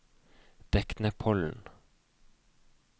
Deknepollen